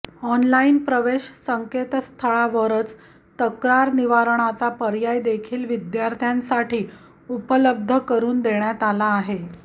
online प्रवेश संकेतस्थळावरच तक्रार निवारणाचा पर्याय देखील विद्यार्थ्यांसाठी उपलब्ध करून देण्यात आला आहे